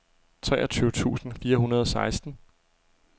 treogtyve tusind fire hundrede og seksten